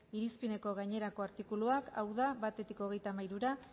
irizpideko gainerako artikuluak hau da batetik hogeita hamairura